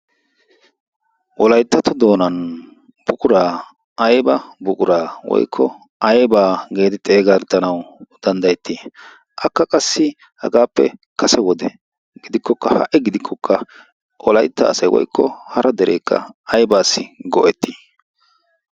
wolayttato doonan buquraa aiba buquraa woykko aybaa geedi xeegatanawu danddayettii akka qassi hagaappe kase wode gidikkokka ha''i gidikkokka wolaitta asay woykko hara dereekka aybaassi go''ettii?